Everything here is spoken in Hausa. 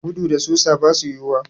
Gudu da susa basu yiwuwa.